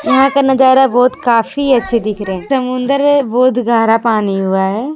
यहां का नजारा बहुत काफी अच्छी दिख रहे हैं तमुन्दर है बहुत गहरा पानी हुए है।